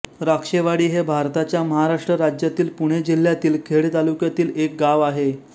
राक्षेवाडी हे भारताच्या महाराष्ट्र राज्यातील पुणे जिल्ह्यातील खेड तालुक्यातील एक गाव आहे